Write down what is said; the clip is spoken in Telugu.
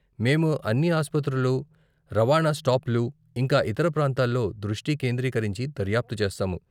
మేము అన్ని ఆసుపత్రులు, రవాణా స్టాప్లు ,ఇంకా ఇతర ప్రాంతాల్లో దృష్టి కేంద్రీకరించి దర్యాప్తు చేస్తాము.